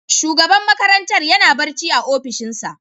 Shugaban makarantar yana barci a opishinsa.